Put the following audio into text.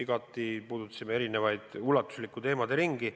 Me puudutasime ulatuslikku teemaderingi.